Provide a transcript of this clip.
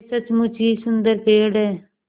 यह सचमुच ही सुन्दर पेड़ है